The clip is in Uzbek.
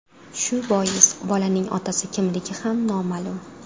Shu bois bolaning otasi kimligi ham noma’lum.